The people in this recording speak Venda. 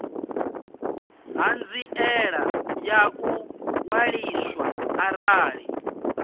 ṱhanziela ya u ṅwaliswa arali